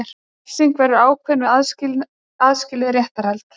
Refsingin verður ákveðin við aðskilið réttarhald